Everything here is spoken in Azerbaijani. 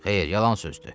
Xeyr, yalan sözdür.